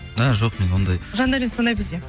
і жоқ мен ондай жандәурен сондай бізде